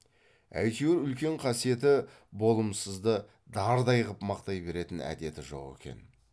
әйтеуір үлкен қасиеті болымсызды дардай ғып мақтай беретін әдеті жоқ екен